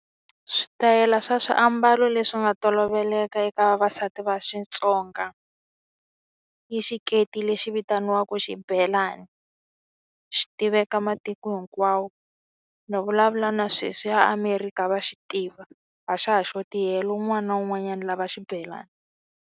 Switayela swa swiambalo leswi nga toloveleka eka vavasati va Xitsonga yi xiketi lexi vitaniwaku xibelani xi tiveka matiko hinkwawo ni vulavula na sweswi eAmerika va xi tiva a xa ha xoti helo un'wana na un'wanyana lava xibelani.